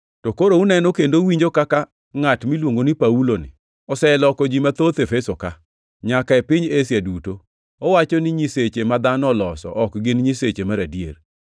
To koro uneno kendo uwinjo kaka ngʼat miluongo ni Pauloni oseloko ji mathoth Efeso-ka, nyaka e piny Asia duto. Owacho ni nyiseche ma dhano oloso ok gin nyiseche mar adier.